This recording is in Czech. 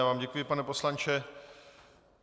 Já vám děkuji, pane poslanče.